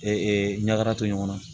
ɲaka to ɲɔgɔn na